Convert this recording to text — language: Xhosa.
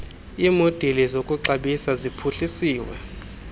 iimodeli zokuxabisa ziphuhlisiwe